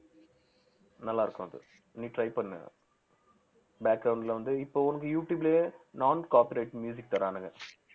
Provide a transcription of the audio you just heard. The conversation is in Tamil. நல்லா இருக்கும் அது நீ try பண்ணு ல வந்து இப்ப உனக்கு யூடுயூப்லயே non copyrights தர்றானுங்க